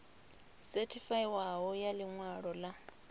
sethifaiwaho ya ḽi ṅwalo ḽa